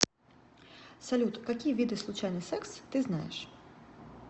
салют какие виды случайный секс ты знаешь